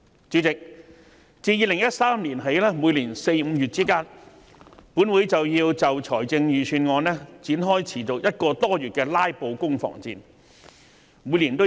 主席，自2013年起，本會在每年4月、5月均會就財政預算案展開持續個多月的"拉布"攻防戰。